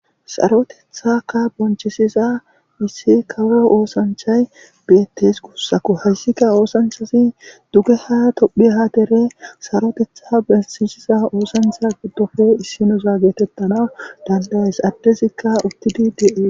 sarotethakka bonchisiza issi kawo oosanchay bi7etes kussaku hayssikka oosanchasi dugge ha tophi haatere sarotetha bensisiza oosancha gidofo issinuza getettana dandayes addezikka uttidi dee